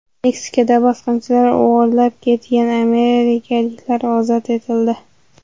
Meksikada bosqinchilar o‘g‘irlab ketgan amerikaliklar ozod etildi.